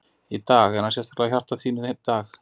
Í dag, er hann sérstaklega í hjarta þínu í dag?